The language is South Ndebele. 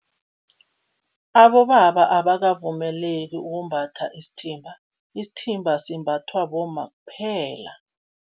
Abobaba abakavumeleki ukumbatha isithimba, isithimba simbathwa bomma kuphela.